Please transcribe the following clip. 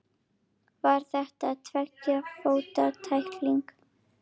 Var þetta tveggja fóta tækling?